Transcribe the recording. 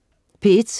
P1: